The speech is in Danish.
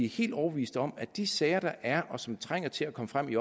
helt overbevist om at de sager der er og som trænger til at komme frem i